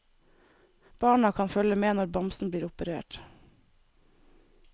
Barna kan følge med når bamsen blir operert.